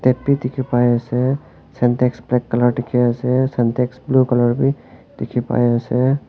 dekhi pai ase sintex black colour dekhi ase sintex blue colour bhi dekhi pai ase.